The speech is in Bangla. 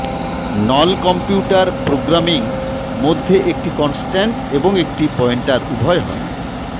নল কম্পিউটার প্রোগ্রামিং মধ্যে একটি কনস্ট্যান্ট এবং একটি পয়েন্টার উভয় হয়